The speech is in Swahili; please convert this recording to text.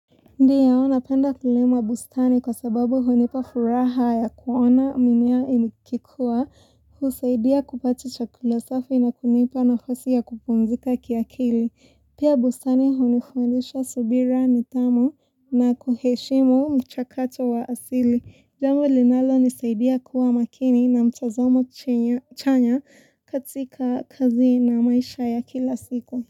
Ndiyo, napenda kule mabustani kwa sababu hunipa furaha ya kuona mimea ikikua, husaidia kupata chakula safi na kunipa nafasi ya kupumzika kiakili. Pia bustani hunifundisha subira ni tamu na kuheshimu mchakato wa asili. Jambo linalonisaidia kuwa makini na mtazamo chanya katika kazi na maisha ya kila siku.